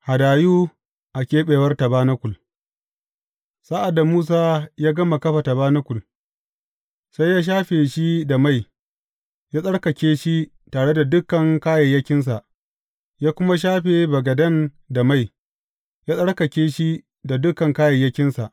Hadayu a keɓewar tabanakul Sa’ad da Musa ya gama kafa tabanakul, sai ya shafe shi da mai, ya tsarkake shi tare da dukan kayayyakinsa, ya kuma shafe bagaden da mai, ya tsarkake shi da dukan kayayyakinsa.